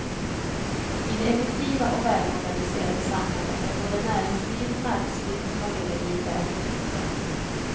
I det effektiva och välorganiserade samhället är både näringsliv, arbetsliv och familjeliv väl inrutat.